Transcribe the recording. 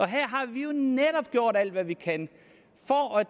her har vi jo netop gjort alt hvad vi kan